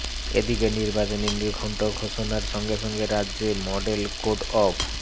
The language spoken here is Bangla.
এদিকে নির্বাচনী নির্ঘণ্ট ঘোষণার সঙ্গে সঙ্গে রাজ্যে মডেল কোড অফ